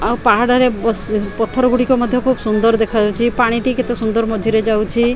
ଆଉ ପାହାଡ ରେ ବସି ପଥର ଗୋଡ଼ିକ ମଧ୍ୟ ଖୁବ୍ ବହୁତ ସୁନ୍ଦର ଦେଖା ଯାଉଛି ପାଣି ଟି କେତେ ସୁନ୍ଦର ମଝି ରେ ଯାଉଛି।